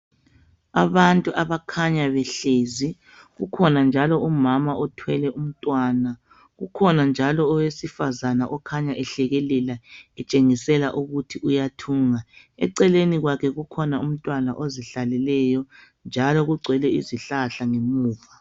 Abantu abakhanya behlezi, kukhona njalo umama othwele umntwana, kukhona njalo owesifazana okhanya ehlekekela etshengisela ukuthi uyathunga, eceleni kwakhe kukhona umntwana ozihlaleleyo, njalo kugcwele izihlahla ngemuva.